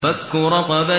فَكُّ رَقَبَةٍ